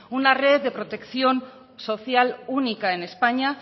una red de protección social única en españa